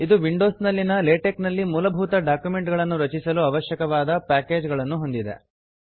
ಇದು ವಿಂಡೋಸ್ ನಲ್ಲಿನ ಲೇಟೆಕ್ ನಲ್ಲಿ ಮೂಲಭೂತ ಡಾಕ್ಯುಮೆಂಟ್ ಗಳನ್ನು ರಚಿಸಲು ಅವಶ್ಯಕವಾದ ಪಾಕೇಜ್ ಗಳನ್ನು ಹೊಂದಿದೆ